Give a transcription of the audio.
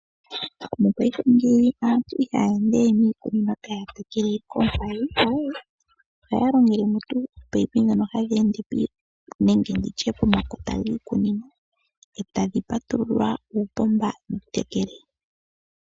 Mopaife ngeyi aantu ihaya endewe niikunino taya tekele koompadhi aawe. Ohaya longele ominino ndhono hadhi ende pomakota giikunino etadhi patululwa uupomba wutekele.